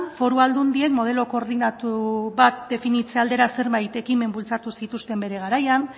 foru aldundien modelo koordinatu bat definitze aldera zenbait ekimen bultzatu zituzten bere garaian